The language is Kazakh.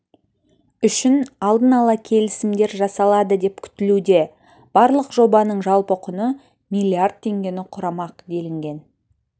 үшін алдын ала келісімдер жасалады деп күтілуде барлық жобаның жалпы құны миллиард теңгені құрамақ делінген